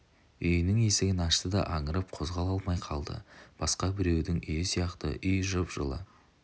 үйінің есігін ашты да аңырып қозғала алмай қалды басқа біреудің үйі сияқты үй жып-жылы